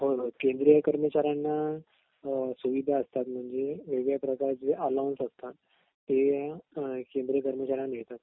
होय होय केंद्रीय कर्मचाऱ्यांना सुविधा असतात म्हणजे वेगळ्या प्रकारचे अल्लोवन्स असतात ते केंद्रीय कर्मचाऱ्यांना मिळतात